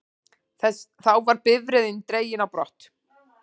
Þá var bifreiðin dregin á brott